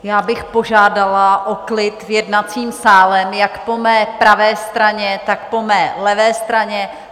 Já bych požádala o klid v jednacím sále jak po mé pravé straně, tak po mé levé straně.